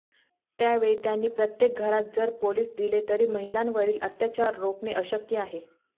त्यावेळी त्यांनी प्रत्येक घरात जर पोलीस दिले तरी महिलांवरील अत्याचार रोखणे अशक्य आहे